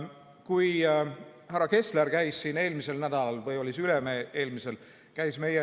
Kui härra Kessler käis eelmisel nädalal – või oli see üle-eelmisel?